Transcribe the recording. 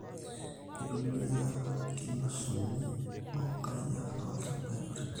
Kitumiai kinyunyusuni onkariak tolchambai kutitik